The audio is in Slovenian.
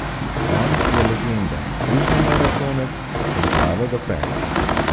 On je legenda, ultramaratonec od glave do pet.